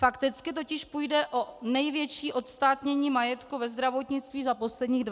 Fakticky totiž půjde o největší odstátnění majetku ve zdravotnictví za posledních 20 let.